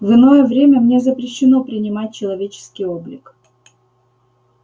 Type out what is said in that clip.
в иное время мне запрещено принимать человеческий облик